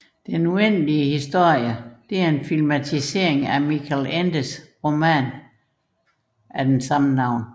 Den uendelige historien er en filmatisering af Michael Endes roman af samme navn